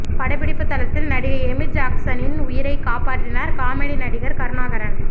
படப்பிடிப்பு தளத்தில் நடிகை எமி ஜாக்ஸனின் உயிரைக் காப்பாற்றினார் காமெடி நடிகர் கருணாகரன்